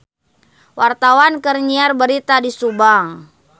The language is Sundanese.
Wartawan keur nyiar berita di Subang